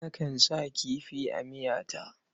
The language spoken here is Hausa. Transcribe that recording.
Nakan sa kifi a miyata.